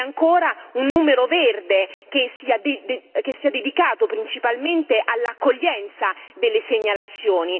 E ancora un numero verde che sia dedicato principalmente all'accoglienza delle segnalazioni.